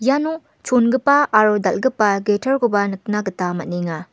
iano chongipa aro dal·gipa guitar-koba nikna gita man·enga.